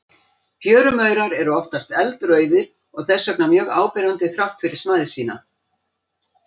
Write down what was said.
Fjörumaurar eru oftast eldrauðir og þess vegna mjög áberandi þrátt fyrir smæð sína.